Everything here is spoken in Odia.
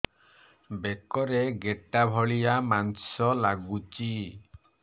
ବେକରେ ଗେଟା ଭଳିଆ ମାଂସ ଲାଗୁଚି